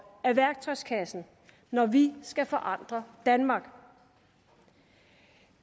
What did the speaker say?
af værktøjskassen når vi skal forandre danmark